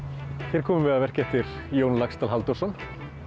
hér komum við að verki eftir Jón Laxdal Halldórsson